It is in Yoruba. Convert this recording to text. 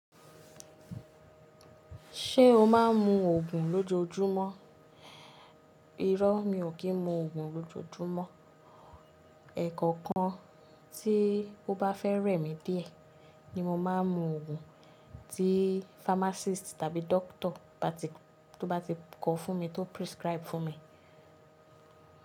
Ṣé o máa ń mu òògùn lójoójúmọ́? Irọ́ mi ò kí ń mu òògùn lójoójúmọ́. Ẹ̀kọ̀kan tí ó bá fẹ́ rẹ̀ mí díẹ̀ ni mo máa ń mu òògùn tí pharmacist tàbí doctor bá ti tó bá ti kọ fún mi tó prescribe fún mi.